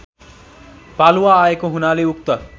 पालुवा आएको हुनाले उक्त